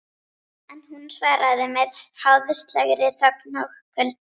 En hún svaraði með háðslegri þögn og kulda.